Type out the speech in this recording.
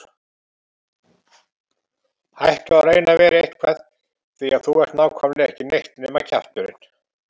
Hættu að reyna að vera eitthvað því að þú ert nákvæmlega ekki neitt nema kjafturinn.